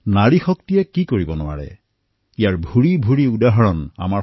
নাৰী শক্তিয়ে কি কৰিব পাৰে এই সন্দৰ্ভত আপুনি বহু উদাহৰণ পাব